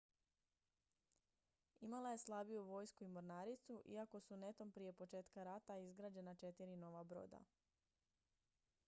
imala je slabiju vojsku i mornaricu iako su netom prije početka rata izgrađena četiri nova broda